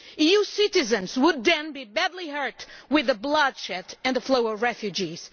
EU citizens would then be badly hurt, with the bloodshed and the flow of refugees.